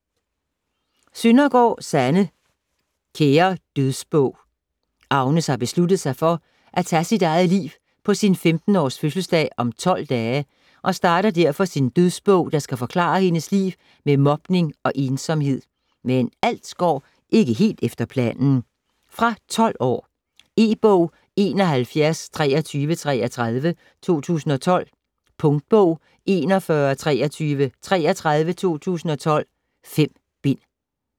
Søndergaard, Sanne: Kære dødsbog Agnes har besluttet sig for at tage sit eget liv på sin 15-års fødselsdag om 12 dage og starter derfor sin dødsbog, der skal forklare hendes liv med mobning og ensomhed, men alt går ikke helt efter planen. Fra 12 år. E-bog 712333 2012. Punktbog 412333 2012. 5 bind.